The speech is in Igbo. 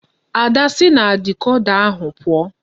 Ada si na dikoda ahu puo!